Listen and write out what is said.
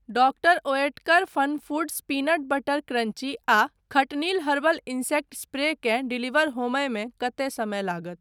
Doctor Oetker FunFoods peanut butter crunchy आ खटनिल herbal insect spray केँ डिलीवर होमयमे कतेक समय लागत?